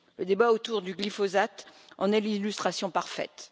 Le débat autour du glyphosate en est l'illustration parfaite.